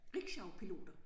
Rickshawpiloter